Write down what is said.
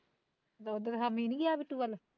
ਦੁੱਧ ਹਾਂ ਮੀਂਹ ਨੀ ਗਿਆ ਬਿੱਟੂ ਵੱਲ